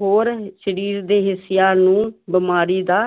ਹੋਰ ਸਰੀਰ ਦੇ ਹਿੱਸਿਆਂ ਨੂੰ ਬਿਮਾਰੀ ਦਾ